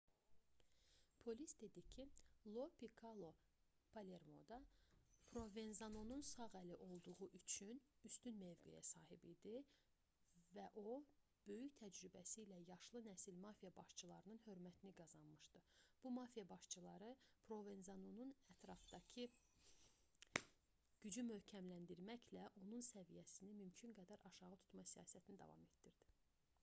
polis dedi ki lo pikkolo palermoda provenzanonun sağ əli olduğu üçün üstün mövqeyə sahib idi və o böyük təcrübəsi ilə yaşlı nəsil mafiya başçılarının hörmətini qazanmışdı bu mafiya başçıları provenzanonun ətrafdakı gücü möhkəmləndirməklə onun səviyyəsini mümkün qədər aşağı tutma siyasətini davam etdirirdi